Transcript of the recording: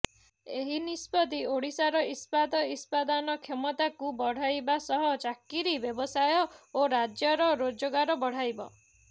ଏହି ନିଷ୍ପତି ଓଡିଶାର ଇସ୍ପାତ୍ ଇତ୍ପାଦନ କ୍ଷମତାକୁ ବଢାଇବା ସହ ଚାକିରି ବ୍ୟବସାୟ ଓ ରାଜ୍ୟର ରୋଜଗାର ବଢାଇବ